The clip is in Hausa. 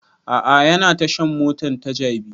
A'a yana tashan mota ta jabi